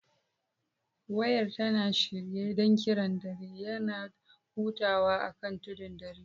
Wayar tana shirye don kiran dare; yana hutawa akan tudun dare.